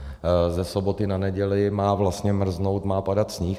Ze soboty na neděli má vlastně mrznout, má padat sníh.